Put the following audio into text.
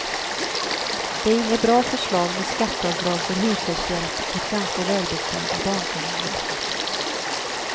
Det är inget bra förslag med skatteavdrag för hushållshjälp åt ganska välbeställda barnfamiljer.